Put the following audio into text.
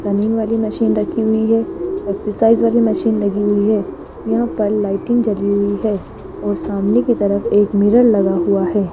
Running वाली machine रखी हुई है एक्सरसाइज वाली मशीन लगी हुई है यहां पर लाइटिंग जली हुई है और सामने की तरफ एक मिरर लगा हुआ है।